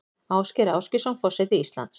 Ásgeir Ásgeirsson forseti Íslands